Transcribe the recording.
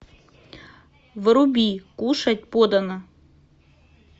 вруби кушать подано